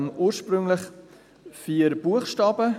Ursprünglich hatten wir dort vier Buchstaben.